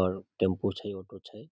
और टेम्पू छै ऑटो छै।